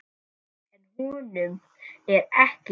En honum er ekki lokið.